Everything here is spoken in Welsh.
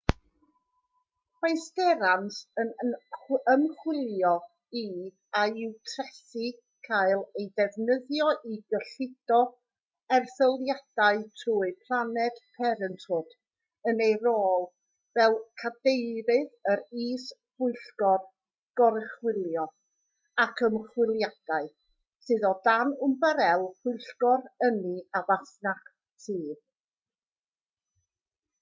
mae sterans yn ymchwilio i a yw trethi'n cael eu defnyddio i gyllido erthyliadau trwy planned parenthood yn ei rôl fel cadeirydd yr is-bwyllgor goruchwylio ac ymchwiliadau sydd o dan ymbarél pwyllgor ynni a masnach y tŷ